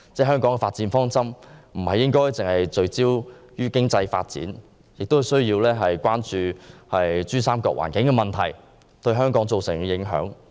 香港的發展方針不應只是聚焦於經濟發展，亦應關注珠三角環境問題對香港造成的影響。